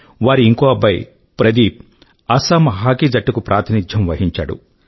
వారి ఇంకో అబ్బాయి ప్రదీప్ అసమ్ హాకీ జట్టుకు ప్రాతినిధ్యం వహించాడు